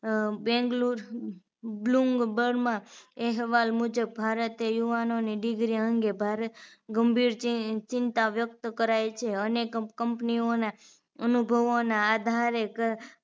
Bengaluru Bloomberg માં અહેવાલ મુજબ ભારતે યુવાનોને degree અંગે ભાર ગંભીર ચિંતા વ્યક્ત કરાય છે અને company ઓને અનુભવોના આધારે